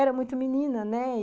Era muito menina, né?